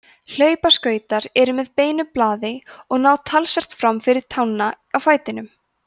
hlaupaskautar eru með beinu blaði og ná talsvert fram fyrir tána á fætinum